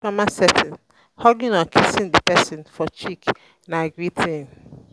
formal setting hugging or kissing di person for cheek na greeting